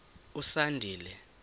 usandile